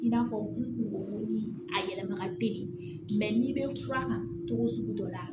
I n'a fɔ kungo ni a yɛlɛma ka teli mɛ n'i bɛ fura kan cogo o sugu dɔ la